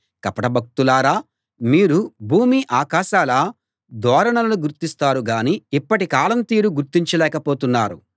కపట భక్తులారా మీరు భూమి ఆకాశాల ధోరణులను గుర్తిస్తారు గానీ ఇప్పటి కాలం తీరు గుర్తించలేక పోతున్నారు